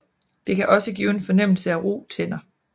Det kan også give en fornemmelse af ru tænder